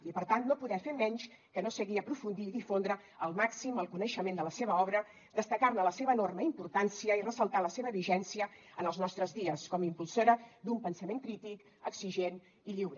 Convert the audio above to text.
i per tant no poder fer menys que no seguir aprofundir i difondre al màxim el coneixement de la seva obra destacar ne la seva enorme importància i ressaltar la seva vigència en els nostres dies com a impulsora d’un pensament crític exigent i lliure